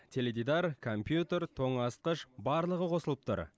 теледидар компьютер тоңазытқыш барлығы қосылып тұр